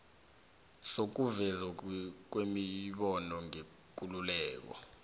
sokuvezwa kwemibono ngekululeko